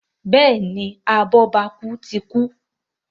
Béèni abobaku tí kú.